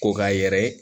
Ko k'a yɛrɛ